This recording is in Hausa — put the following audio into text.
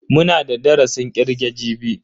Muna da darasin kirge jibi.